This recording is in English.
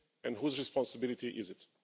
And whose responsibility is it?